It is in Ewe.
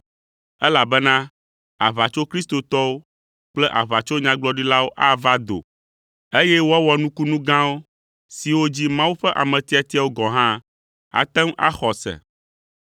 elabena aʋatsokristotɔwo kple aʋatsonyagblɔɖilawo ava do, eye woawɔ nukunu gãwo siwo dzi Mawu ƒe ame tiatiawo gɔ̃ hã ate ŋu axɔ ase.